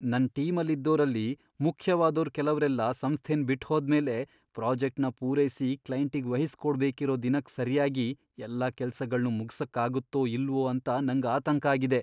ನನ್ ಟೀಮಲ್ಲಿದ್ದೋರಲ್ಲಿ ಮುಖ್ಯವಾದೋರ್ ಕೆಲವ್ರೆಲ್ಲ ಸಂಸ್ಥೆನ್ ಬಿಟ್ಹೋದ್ಮೇಲೆ ಪ್ರಾಜೆಕ್ಟ್ನ ಪೂರೈಸಿ ಕ್ಲೈಂಟಿಗ್ ವಹಿಸ್ಕೊಡ್ಬೇಕಿರೋ ದಿನಕ್ ಸರ್ಯಾಗಿ ಎಲ್ಲ ಕೆಲ್ಸಗಳ್ನೂ ಮುಗ್ಸಕ್ಕಾಗತ್ತೋ ಇಲ್ವೋ ಅಂತ ನಂಗ್ ಆತಂಕ ಆಗಿದೆ.